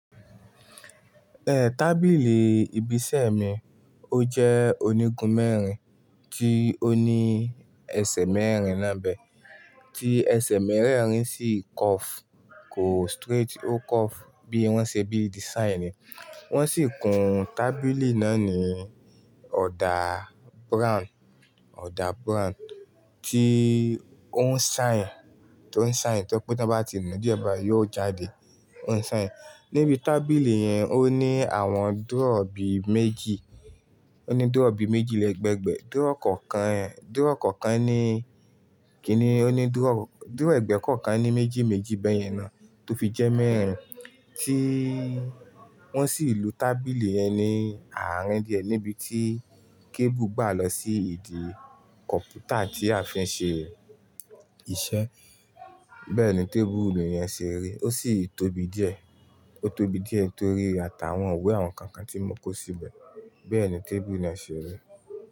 Eh, tábìlì ibi iṣẹ́ mi ó jẹ́ onígun mẹ́rin tí ó ní ẹsẹ̀ mẹ́rin náà bẹ́, tí ẹsẹ̀ mẹ́rẹ̀ẹ̀rin sì curve, kò straight, ó curve bí wọ́n ṣe bí design ni. Wọ́n sì kun tábìlì náà ní ọ̀dà brown, ọ̀dà brown tí ó ń shine, tó ń shine tó pé tí wọ́n bá ti nù díẹ̀ bá yóò jáde. Ó ń shine. Níbi tábìlì yẹn ó ní àwọn drawer bí méjì, ó ní drawer bí méjì lẹ́ẹ̀gbẹ̀ẹ́ drawer kọ̀ọ̀kan, drawer kọ̀ọ̀kan ní kí ni, Ó ní drawer, drawer ẹ̀gbẹ́ kọ̀ọ̀kan ní méjì méjì bẹ́yẹn náà tó fi jẹ́ mẹ́rin tí wọ́n sì lu tábìlì yẹn ní àárín díẹ̀ níbi tí cable gbà lọ sí ìdí kọ̀ǹpútà tí a fi ń ṣe iṣẹ́. Bẹ́ẹ̀ ni tábìlì yẹn ṣe rí. Ó sì tóbi díẹ̀, ó tóbi díẹ̀ torí ata àwọn íwe àwọn kànkàn tí wọ́n kó síbẹ̀. Bẹ́ẹ̀ ni tábìlì náà ṣe rí.